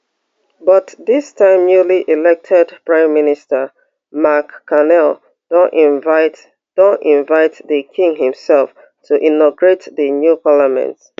but dis time newly elected prime minister mark carney don invite don invite di king imself to inaugurate di new parliament